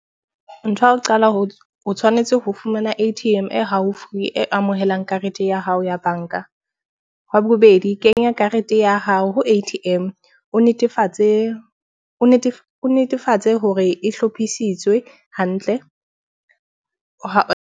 Ntho ya ho qala ho tshwanetse ho fumana A_T_M e haufi e amohelang karete ya hao ya banka. Wa bobedi, kenya karete ya hao ho A_T_M o netefatse o netefatse hore e hlophisitswe hantle ha .